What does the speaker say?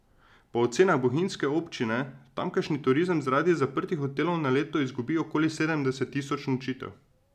Po ocenah bohinjske občine tamkajšnji turizem zaradi zaprtih hotelov na leto izgubi okoli sedemdeset tisoč nočitev.